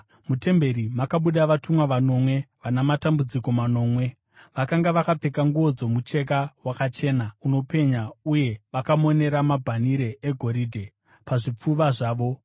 Mutemberi makabuda vatumwa vanomwe vana matambudziko manomwe. Vakanga vakapfeka nguo dzomucheka wakachena, unopenya uye vakamonera mabhanhire egoridhe pazvipfuva zvavo.